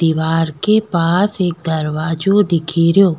दिवार के पास एक दरवाजा दिखेरो।